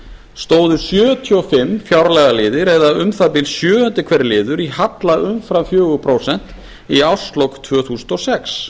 stóðu sjötíu og fimm fjárlagaliðir eða um það bil sjöundi hver liður í halla umfram fjögur prósent í árslok tvö þúsund og sex